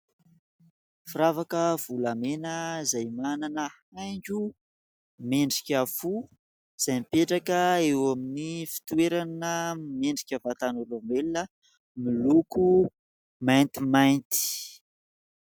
Firavaka volamena izay manana haingo miendrika fo izay mipetraka eo amin'ny fitoerana miendrika vatan'olombelona, miloko maintimainty.